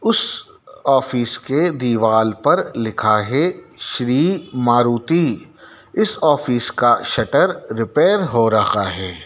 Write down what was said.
उस ऑफिस के दीवाल पर लिखा है श्री मारुति इस ऑफिस का शटर रिपेयर हो रहा है।